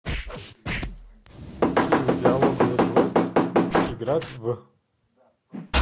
скилл диалоговый квест путник играть в